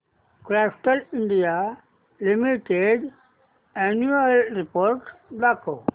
Castrol India limited annual report दाखव